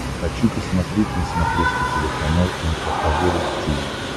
хочу посмотреть на смотрешке телеканал эн эйч кей волд ти ви